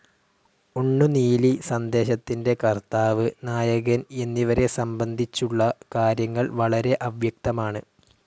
ഉണ്ണുനീലി സന്ദേശത്തിന്റെ കർത്താവ്, നായകൻ എന്നിവരെ സംബന്ധിച്ചുള്ള കാര്യങ്ങൾ വളരെ അവ്യക്തമാണ്.